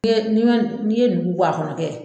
N'i ye n'i ma n'i ye nugu bɔ a kɔnɔ kɛ